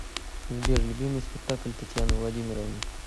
сбер любимый спектакль татьяны владимировны